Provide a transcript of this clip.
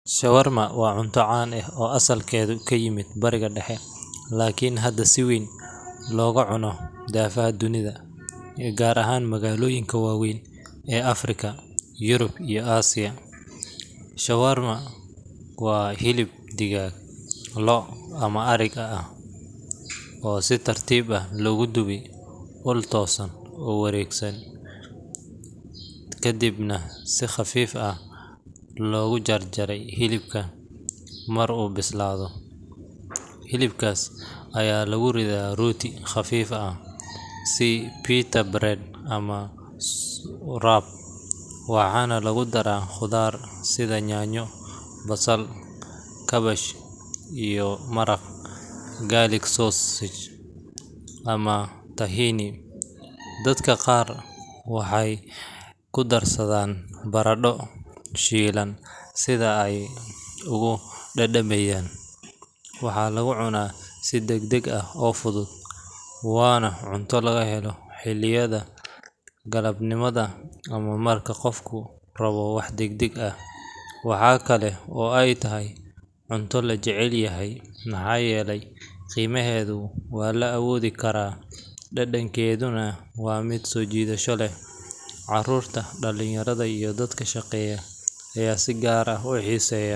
Shawarma waa cunto caan ah oo asalkeedu ka yimid Bariga Dhexe, laakiin hadda si weyn looga cuno daafaha dunida, gaar ahaan magaalooyinka waaweyn ee Afrika, Yurub, iyo Aasiya. Shawarma waa hilib digaag, lo’, ama ariga ah oo si tartiib ah loogu dubo ul toosan oo wareegaysa, kadibna si khafiif ah loogu jarjaro hilibka marka uu bislaado. Hilibkaas ayaa lagu ridaa rooti khafiif ah sida pita bread ama wrap, waxaana lagu daraa khudaar sida yaanyo, basal, kaabash, iyo maraqa garlic sauce ama tahini. Dadka qaar waxay ku darsadaan baradho shiilan si ay ugu dhadhamiyaan. Waxaa lagu cunaa si degdeg ah oo fudud, waana cunto laga helo xilliyada galabnimada ama marka qofku rabo wax degdeg ah. Waxa kale oo ay tahay cunto la jecel yahay maxaa yeelay qiimaheedu waa la awoodi karaa, dhadhankeeduna waa mid soo jiidasho leh. Carruurta, dhallinyarada iyo dadka shaqeeya ayaa si gaar ah u xiiseeya.